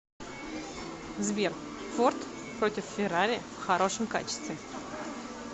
сбер форд против феррари в хорошем качестве